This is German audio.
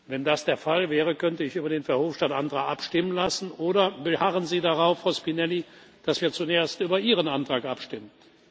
Wenn das der Fall wäre, könnte ich über den Verhofstadt Antrag abstimmen lassen. Oder beharren Sie darauf, Frau Spinelli, dass wir zuerst über Ihren Antrag abstimmen?